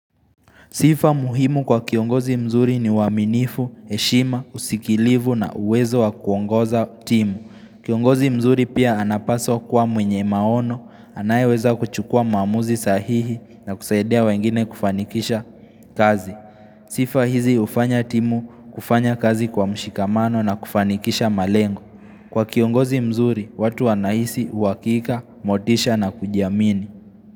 Sifa muhimu kwa kiongozi mzuri ni uwaminifu, heshima, usikilivu na uwezo wa kuongoza timu. Kiongozi mzuri pia anapaswa kuwa mwenye maono, anayeweza kuchukua maamuzi sahihi na kusaidia wengine kufanikisha kazi. Sifa hizi hufanya timu kufanya kazi kwa mshikamano na kufanikisha malengo. Kwa kiongozi mzuri, watu wanahisi uwakika, motisha na kujiamini.